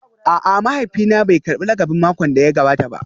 A'a, mahaifina bai karbi lakabin makon da ya gabata ba